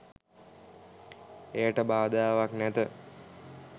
එයට බාධාවක් නැත.